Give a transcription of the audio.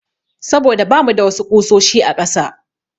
Saboda bamu da wasu ƙusoshi a ƙasa.